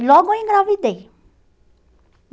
E logo eu engravidei.